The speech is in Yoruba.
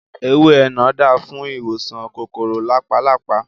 Ewé énà dáa fún ìwòsàn kòkòrò làpálàpá